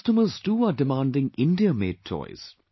Customers too are demanding India made toys